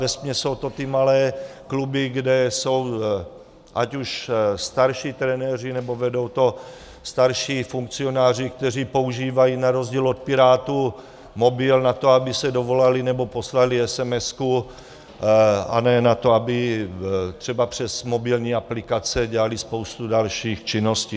Vesměs jsou to ty malé kluby, kde jsou ať už starší trenéři, nebo vedou to starší funkcionáři, kteří používají na rozdíl od pirátů mobil na to, aby se dovolali nebo poslali esemesku, a ne na to, aby třeba přes mobilní aplikace dělali spoustu dalších činností.